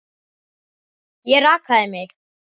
Ég rakaði mig.